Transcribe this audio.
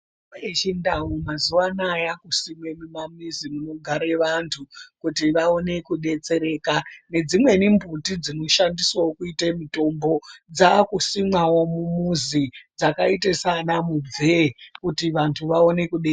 Mitombo yechindau mazuva anaya yakusimwe mumamizi munogare vantu kuti vaone kubetsereka. Nedzimweni mbuti dzinoshandiswavo kuite mutombo dzakusimwavo mumuzi dzakaite sana mubvee kuti vantu vaone kubetsereka.